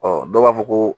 Ɔ dɔw b'a fɔ ko